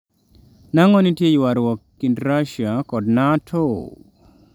nang'o nitie ywaruok kind Russia kod Nato?